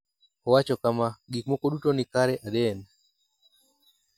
Owacho kama: “Gik moko duto ni kare Aden.